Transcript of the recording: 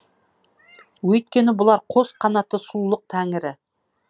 өйткені бұлар қос қанатты сұлулық тәңірі